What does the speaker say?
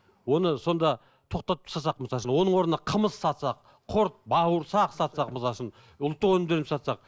оны сонда тоқтатып тастасақ мысалы үшін оның орнына қымыз сатсақ құрт бауырсақ сатсақ мысалы үшін ұлттық өнімдерін сатсақ